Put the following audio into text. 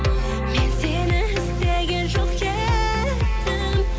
мен сені іздеген жоқ едім